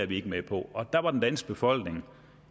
vi ikke med på og der var den danske befolkning